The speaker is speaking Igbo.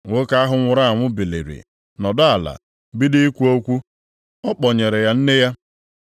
Nwoke ahụ nwụrụ anwụ biliri, nọdụ ala, bido ikwu okwu, ọ kpọnyere ya nne ya.